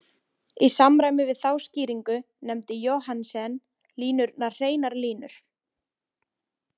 Í samræmi við þá skýringu nefndi Johannsen línurnar hreinar línur.